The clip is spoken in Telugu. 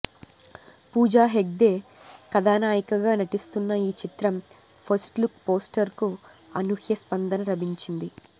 పూజా హెగ్డే కథానాయికగా నటిస్తున్న ఈ చిత్రం ఫస్ట్లుక్ పోస్టర్కు అనూహ్య స్పందన లభించింది